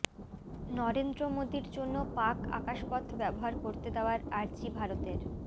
নরেন্দ্র মোদীর জন্য পাক আকাশপথ ব্যবহার করতে দেওয়ার আর্জি ভারতের